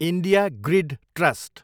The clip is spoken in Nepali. India grid trust